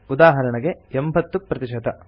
ಉದಾಹರೆಣೆಗೆ 80 ಪ್ರತಿಶತ